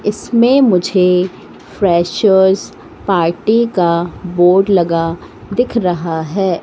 इसमें मुझे freshers party का बोर्ड लगा दिख रहा है।